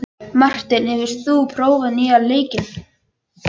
Marteinn, hefur þú prófað nýja leikinn?